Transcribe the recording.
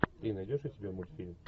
ты найдешь у себя мультфильм